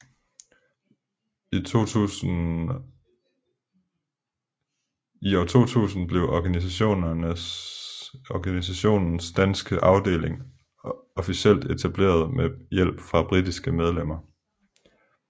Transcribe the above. I 2000 blev organisationens danske afdeling officielt etableret med hjælp fra britiske medlemmer